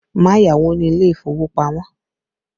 Má yáwó ni ilé ìfowópamọ́!